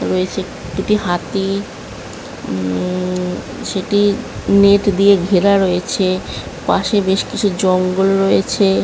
রয়েছে দুটি হাতি উম সেটি নেট দিয়ে ঘেরা রয়েছে পাশে বেশ কিছু জঙ্গল রয়েছে ।